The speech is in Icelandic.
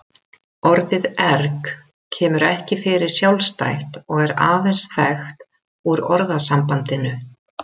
Orðið erg kemur ekki fyrir sjálfstætt og er aðeins þekkt úr orðasambandinu.